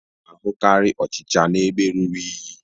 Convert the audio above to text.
A na-ahụkarị ọchịcha n'ebe ruru unyi